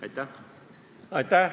Aitäh!